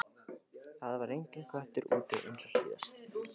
Það var enginn köttur úti eins og síðast.